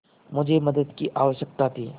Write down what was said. मुझे मदद की आवश्यकता थी